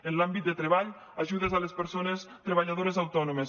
en l’àmbit de treball ajudes a les persones treballadores autònomes